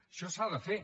això s’ha de fer